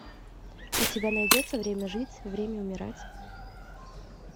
у тебя найдется время жить время умирать